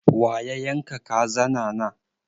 Wa ya yan ka kazana na?